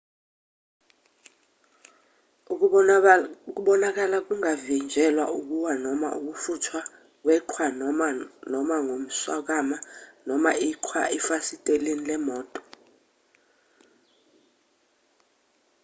ukubonakala kungavinjelwa ukuwa noma ukufuthwa kweqhwa noma noma ngomswakama noma iqhwa efasiteleni lemoto